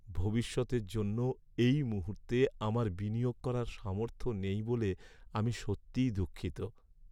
ভবিষ্যতের জন্য এই মুহূর্তে আমার বিনিয়োগ করার সামর্থ্য নেই বলে আমি সত্যিই দুঃখিত।